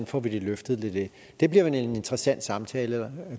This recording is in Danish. får det løftet til det det bliver en interessant samtale